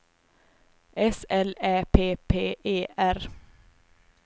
S L Ä P P E R